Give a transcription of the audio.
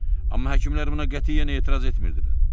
Amma həkimlər buna qətiyyən etiraz etmirdilər.